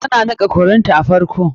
Tana niƙa curry ta a farko.